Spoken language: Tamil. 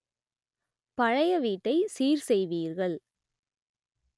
பழைய வீட்டை சீர் செய்வீர்கள்